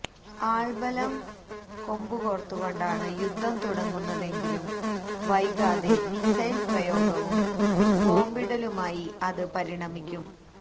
ആള്ബലം കോമ്പുകോര്ത്തുകൊണ്ടാണ് യുദ്ധം തുടങ്ങുന്നതെങ്കിലും വൈകാതെ മിസൈല് പ്രയോഗവും ബോംബിടലുമായി അത് പരിണമിക്കും